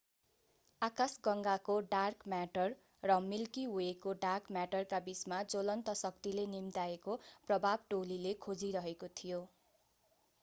आकाशगंगाको dark matter र milky वेको dark म्याटरका बीचमा ज्वलन्त शक्तिले निम्त्याएको प्रभाव टोलीले खोजिरहेको थियो